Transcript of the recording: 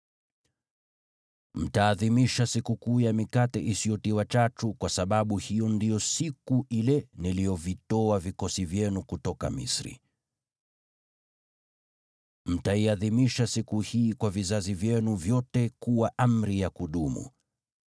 “Mtaadhimisha Sikukuu ya Mikate Isiyotiwa Chachu, kwa sababu hiyo ndiyo siku ile niliyovitoa vikosi vyenu kutoka Misri. Mtaiadhimisha siku hii kwa vizazi vyenu vyote kuwa amri ya kudumu.